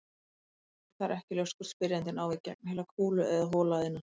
Það er ekki ljóst hvort spyrjandinn á við gegnheila kúlu eða hola að innan.